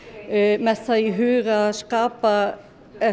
með það í huga að